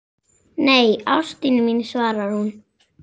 Nei, ástin mín, svarar hún.